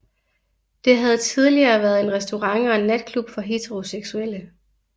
Det havde tidligere været en restaurant og en natklub for heteroseksuelle